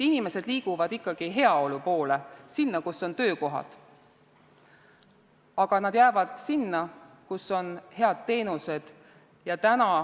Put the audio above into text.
Inimesed liiguvad ikkagi heaolu poole, sinna, kus on töökohad, aga nad jäävad sinna, kus on head teenused.